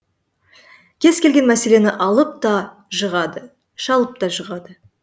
кез келген мәселені алып та жығады шалып та жығады